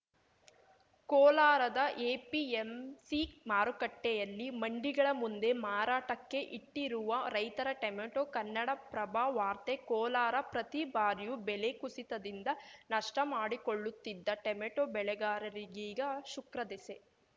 ಕೋಲಾರದ ಎಪಿಎಂಸಿ ಮಾರುಕಟ್ಟೆಯಲ್ಲಿ ಮಂಡಿಗಳ ಮುಂದೆ ಮಾರಾಟಕ್ಕೆ ಇಟ್ಟಿರುವ ರೈತರ ಟೆಮೆಟೋ ಕನ್ನಡಪ್ರಭವಾರ್ತೆ ಕೋಲಾರ ಪ್ರತಿ ಬಾರಿಯೂ ಬೆಲೆ ಕುಸಿತದಿಂದ ನಷ್ಟಮಾಡಿಕೊಳ್ಳುತ್ತಿದ್ದ ಟೆಮೆಟೋ ಬೆಳೆಗಾರರಿಗೀಗ ಶುಕ್ರದೆಸೆ